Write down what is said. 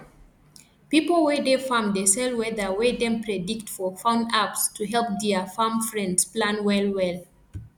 pipo wey dey farm dey sell weather wey dem predict for phone apps to help dia farm friends plan well well